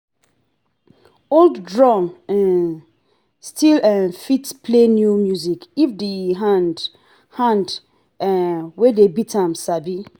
old drum um still um fit play new music if the hand hand um wey dey beat am sabi.